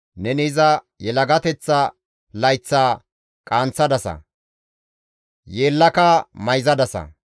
Neni iza yelagateththa layththaa qaanththadasa; yeellaka mayzadasa.